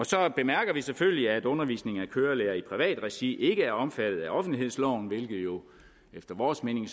så bemærker vi selvfølgelig at undervisningen af kørelærere i privat regi ikke er omfattet af offentlighedsloven hvilket jo efter vores mening